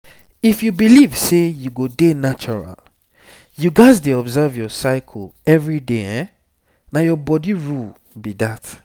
if you believe sey you go dey natural you gats dey observe your cycle every day na your body rule be that